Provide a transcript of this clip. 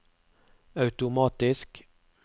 automatisk